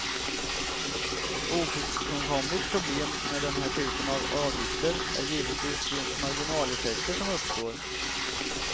Ett ofrånkomligt problem med den här typen av avgifter är givetvis de marginaleffekter som uppstår.